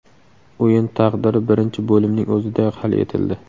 O‘yin taqdiri birinchi bo‘limning o‘zidayoq hal etildi.